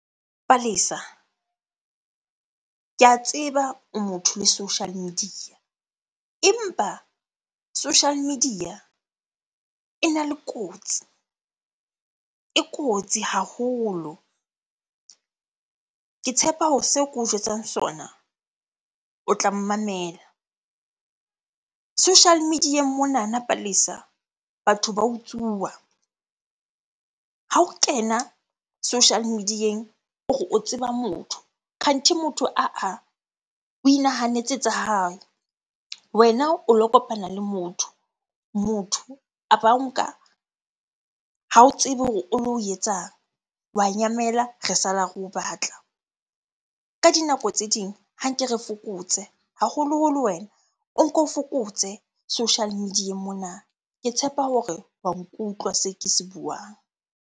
Palesa, ke a tseba o motho le social media. Empa social media ena le kotsi, e kotsi haholo. Ke tshepa hore seo ke o jwetsang sona, o tla mmamela. Social media-eng monana Palesa, batho ba utsuwa. Ha o kena social media-eng o re o tseba motho, kganthi motho ah ah, o inahanetse tsa hae. Wena o lo kopana le motho, motho a ba o nka, ha o tsebe hore o lo o etsang. Wa nyamela, re sala re o batla. Ka dinako tse ding ha nke re fokotse. Haholoholo wena, o nko fokotse social media-eng mona. Ke tshepa hore wa nkutlwa se ke se buang.